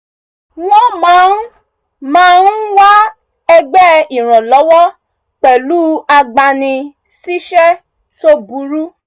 wọ́n máa ń máa ń wá ẹgbẹ́ ìrànlọ́wọ́ pẹ̀lú agbani-síṣẹ́ tó burú